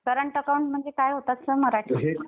Current account म्हणजे काय होत असतं मराठीत?